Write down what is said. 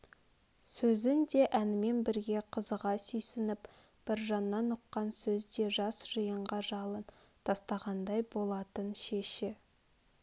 сөзін де әнімен бірге қызыға сүйсініп біржаннан ұққан сөз де жас жиынға жалын тастағандай болатын шеші